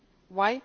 industries.